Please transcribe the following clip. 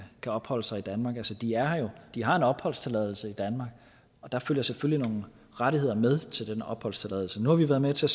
skal opholde sig i danmark altså de er her jo de har en opholdstilladelse i danmark og der følger selvfølgelig nogle rettigheder med til den opholdstilladelse nu har vi været med til